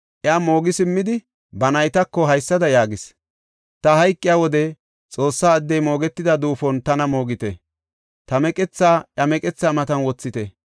Iya moogi simmidi ba naytako haysada yaagis; “Ta hayqiya wode Xoossa addey moogetida duufon tana moogite. Ta meqethaa iya meqethaa matan wothite.